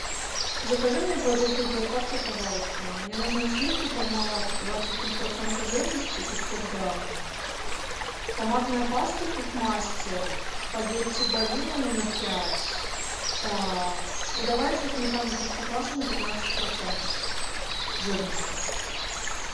закажи мне продукты с доставкой пожалуйста мне нужны сливки пармалат двадцать три процента жирности пятьсот грамм томатная паста кухмастер спагетти барилла номер пять так и давай еще сметану простоквашино пятнадцать процентов жирности